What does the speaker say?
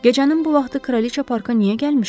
Gecənin bu vaxtı kraliça parka niyə gəlmişdi?